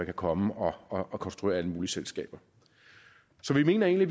komme og konstruere alle mulige selskaber så vi mener egentlig